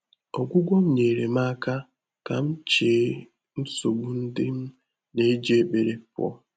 Ọ́gwụ́gwọ́ nyeerem m áká kà m chèé nsógbú ndị́ m nà-éjí ékpèré pụ́ọ́.